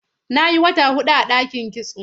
Na yi wata huɗu a ɗakin kitso.